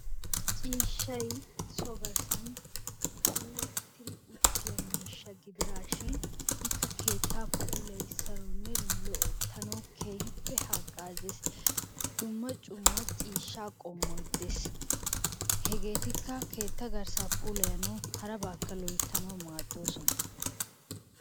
Ciishshay so garssan puulattidi uttiya miishsha gidiraashin ikka keettaa puulayisanawunne loyttanawu keehippe hagaazzees. Dumma dumma ciishshaa qommoy dees. Hegeetikka keetta garssaa pulayanawu harabaakka loyttanawu maadoosona.